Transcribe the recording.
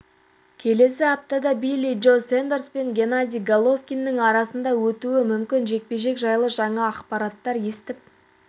келесі аптада билли джо сондерс пен геннадий головкиннің арасындағы өтуі мүмкін жекпе-жек жайлы жаңа ақпараттар естіп